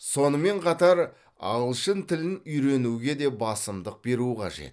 сонымен қатар ағылшын тілін үйренуге де басымдық беру қажет